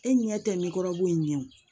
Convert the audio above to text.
E ɲɛ tɛ nekɔrɔbu in ɲɛ wo